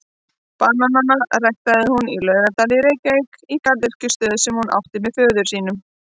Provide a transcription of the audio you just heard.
Bananana ræktaði hún í Laugardal í Reykjavík í garðyrkjustöð sem hún átti með föður sínum.